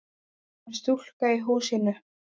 Það er stúlkan í húsinu.